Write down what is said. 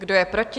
Kdo je proti?